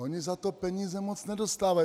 Oni za to peníze moc nedostávají.